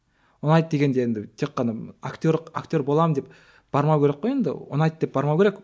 ұнайды дегенде енді тек қана актерлік актер боламын деп бармау керек қой енді ұнайды деп бармау керек